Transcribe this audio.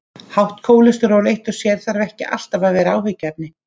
Hátt kólesteról eitt og sér þarf ekki alltaf að vera áhyggjuefni.